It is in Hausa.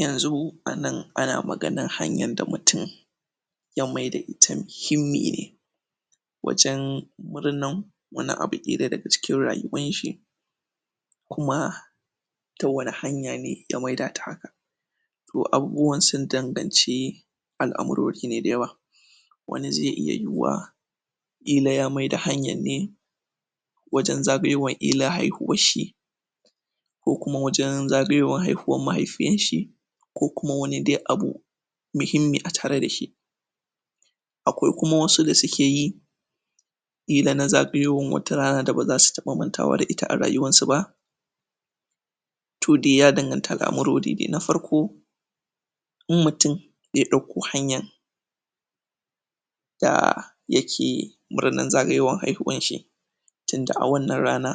Yanzu a nan ana maganan hanyan da mutum ya maida ita mihimmi ne wajen murnan wani abu ƙila daga cikin rayuwanshi kuma ta wani hanya ne ya maida ta haka to abubuwan sun danganci al'amurori ne dayawa wani ze iya yiwuwa ƙila ya maida hanyan ne wajen zagayowan ƙilan haihuwan shi ko kuma wajan zagayowan haihuwan mahaifiyan shi ko kuma wani dai abu mihimmi a tare da shi akwai kuma wasu da suke yi ƙila na zagayowan wata rana da baza su taɓa mantawa da ita a rayuwansu ba to de ya danganta al'amurori de. Na farko im mutum ya ɗauko hanyan da yake murnan zagayowan haihuwan shi tunda a wannan rana